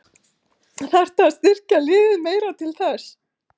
Þarftu að styrkja liðið meira til þess?